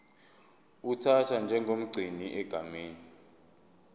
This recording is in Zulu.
uthathwa njengomgcini egameni